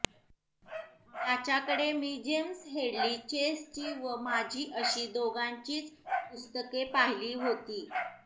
त्याच्याकडे मी James Hadley चेसची व माझी अशी दोघांचीच पुस्तके पाहिली होती